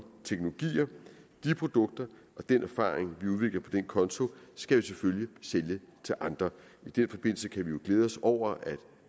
teknologier de produkter og den erfaring vi udvikler på den konto skal vi selvfølgelig sælge til andre i den forbindelse kan vi jo glæde os over at